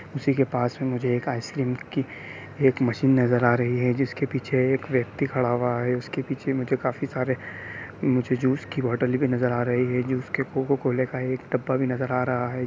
उसी के पास मुझे आइस क्रीम की एक मशीन नजर आ रही है जिसके पीछे एक व्यक्ति खड़ा हुआ है| और उसके पीछे मुझे काफी सारे मुझे जूस की बोतले भी नजर आ रही है| कोको कोले का एक डब्बा भी नजर आ रहा है।